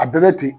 A bɛɛ bɛ ten